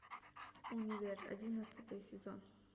универ одиннадцатый сезон